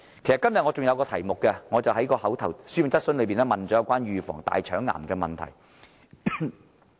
其實，今天我亦透過書面質詢提出有關預防大腸癌的問題。